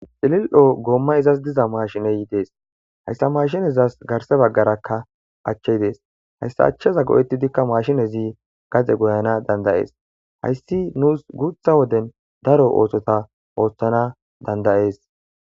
cilil7o goomma izas diza maashineyidees hayssa mashinezas garse baggarakka achchey dees hayssa achchaza go7ettidikka maashinezi gaze goyana dandayees hayssi nuus guutha woden daro oothota ooththana dandayees